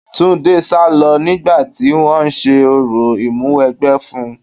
Túndé sálọ nígbà tí wọn ń ṣe orò ìmúwẹgbẹ́ fún-un.